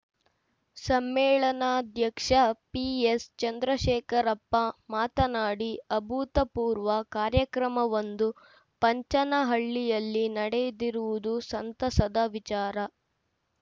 ಸಮ್ಮೇಳನಾಧ್ಯಕ್ಷ PS Chandrashekarappa ಮಾತನಾಡಿ ಅಭೂತಪೂರ್ವ ಕಾರ್ಯಕ್ರಮವೊಂದು ಪಂಚನಹಳ್ಳಿಯಲ್ಲಿ ನಡೆದಿರುವುದು ಸಂತಸದ ವಿಚಾರ